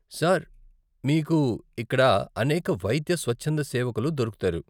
Sir, మీకు ఇక్కడ అనేక వైద్య స్వచ్ఛంద సేవకులు దొరుకుతారు.